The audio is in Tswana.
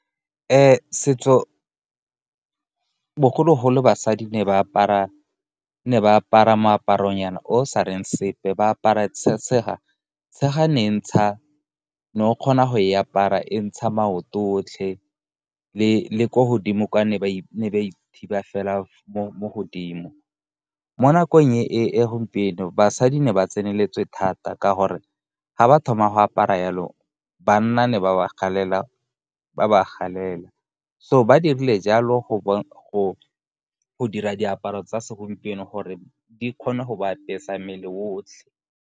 Setso, bogologolo basadi ne ba apara moaparonyana o sa reng sepe, ba apara tshega. Tshega ne o kgona go e apara e ntsha maoto otlhe, le ko godimo kwa ne ba ithibi fela mo godimo. Mo nakong e gompieno, basadi ne ba tseneletswe thata ka gore ga ba thoma go apara jalo, banna ne ba ba galela. So ba dirile jalo go dira diaparo tsa segompieno gore di kgone go ba apesa mmele o otlhe.